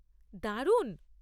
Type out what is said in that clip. দারুণ।